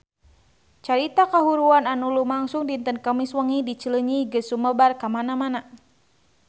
Carita kahuruan anu lumangsung dinten Kemis wengi di Cileunyi geus sumebar kamana-mana